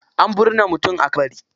Ana binne mutum a kabari.